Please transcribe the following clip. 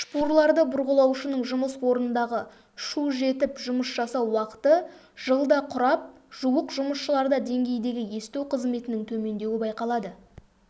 шпурларды бұрғылаушының жұмыс орнындағы шу жетіп жұмыс жасау уақыты жылда құрап жуық жұмысшыларда деңгейдегі есту қызметінің төмендеуі байқалады